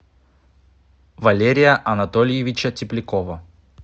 валерия анатольевича теплякова